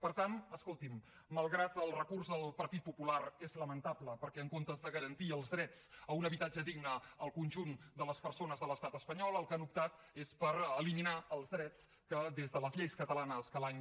per tant escolti’m malgrat que el recurs del partit popular és lamentable perquè en comptes de garantir els drets a un habitatge digne al conjunt de les persones de l’estat espanyol pel que han optat és per eliminar els drets que des de les lleis catalanes que l’any